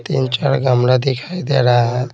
तीन चार गमला दिखाई दे रहा है।